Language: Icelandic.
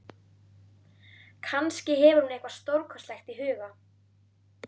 Kannski hefur hún eitthvað stórkostlegt í huga.